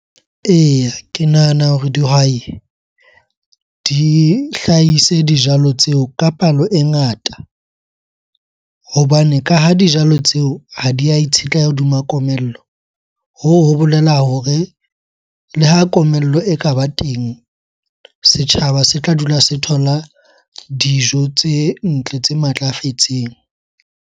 Eya, ke nahana hore dihwai di hlahise dijalo tseo ka palo e ngata hobane ka ha dijalo tseo ha di a itshetleha hodima komello. Hoo ho bolela hore le ha komello e ka ba teng, setjhaba se tla dula se thola dijo tse ntle, tse matlafetseng.